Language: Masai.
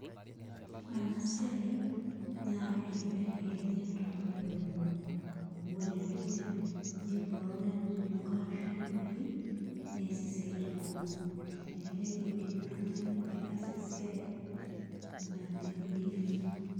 Ore enasiai nakeibelekenya tonkoitoi kumok, amu ore enedukuya inepu ake ore enanyonga ashu enamoti neas siatin kumok, elelek indim oltungani aitaasa esiai nai.